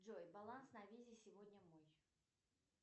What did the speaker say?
джой баланс на визе сегодня мой